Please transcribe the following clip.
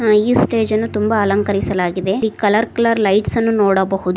ಈ ಸ್ಟೇಜ ನ್ನು ತುಂಬಾ ಅಲಂಕರಿಸಲಾಗಿದೆ ಕಲರ್ ಕಲರ್ ಲೈಟ್ಸ್ ಅನ್ನು ನೋಡಬಹುದು.